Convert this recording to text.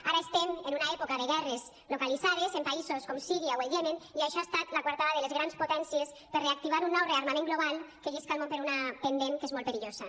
ara estem en una època de guerres localitzades en països com síria o el iemen i això ha estat la coartada de les grans potències per reactivar un nou rearmament global que llisca el món per un pendent que és molt perillós